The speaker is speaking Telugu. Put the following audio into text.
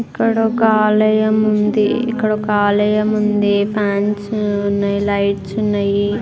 ఇక్కడొక ఆలయం ఉంది ఇక్కడొక ఆలయం ఉంది. ఫాన్స్ ఉన్నాయ్ లైట్స్ ఉన్నాయ్.